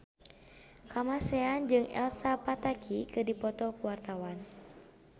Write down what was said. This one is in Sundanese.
Kamasean jeung Elsa Pataky keur dipoto ku wartawan